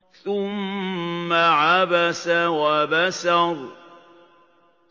ثُمَّ عَبَسَ وَبَسَرَ